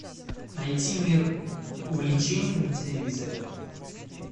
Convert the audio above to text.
найти мир увлечений на телевизоре